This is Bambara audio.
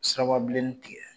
Sirababilennin tigɛ